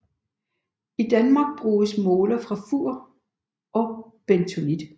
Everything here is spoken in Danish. I Danmark bruges moler fra Fur og bentonit